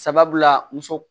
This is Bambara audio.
Sabula muso